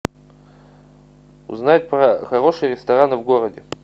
узнать про хорошие рестораны в городе